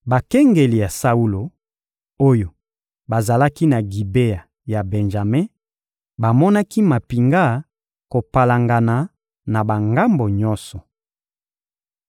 Bakengeli ya Saulo, oyo bazalaki na Gibea ya Benjame bamonaki mampinga kopalangana na bangambo nyonso.